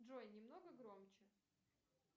джой немного громче